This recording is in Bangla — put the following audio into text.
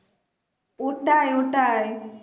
ওটাই ওটাই